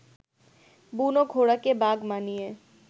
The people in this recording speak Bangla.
বুনো ঘোড়াকে বাগ মানিয়ে